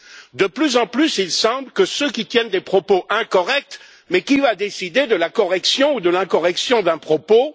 Or, de plus en plus, il semble que ceux qui tiennent des propos incorrects mais qui va décider de la correction ou de l'incorrection d'un propos?